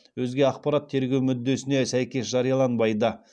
өзге ақпарат тергеу мүддесіне сәйкес жарияланбайды